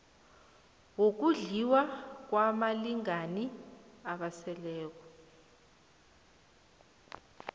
wokondliwa kwabalingani abaseleko